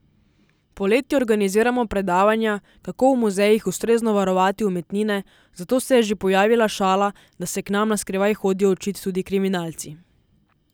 Poleti organiziramo predavanja, kako v muzejih ustrezno varovati umetnine, zato se je že pojavila šala, da se k nam na skrivaj hodijo učit tudi kriminalci.